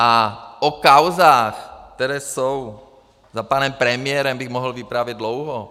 A o kauzách, které jsou za panem premiérem, bych mohl vyprávět dlouho.